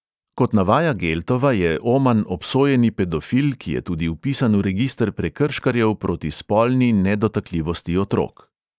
Kot navaja geltova, je oman obsojeni pedofil, ki je tudi vpisan v register prekrškarjev proti spolni nedotakljivosti otrok.